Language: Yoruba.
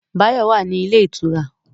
Báyọ̀ wà ní ilé ìtura